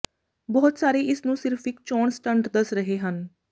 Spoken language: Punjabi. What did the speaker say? ਬਹੁਤ ਸਾਰੇ ਇਸ ਨੂੰ ਸਿਰਫ਼ ਇਕ ਚੋਣ ਸਟੰਟ ਦੱਸ ਰਹੇ ਹਨ